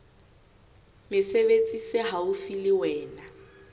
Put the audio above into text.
mesebetsi se haufi le wena